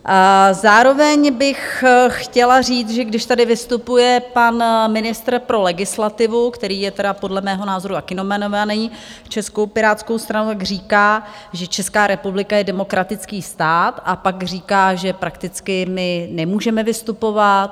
Zároveň bych chtěla říct, že když tady vystupuje pan ministr pro legislativu, který je tedy podle mého názoru taky nominovaný Českou pirátskou stranu, tak říká, že Česká republika je demokratický stát, a pak říká, že prakticky my nemůžeme vystupovat.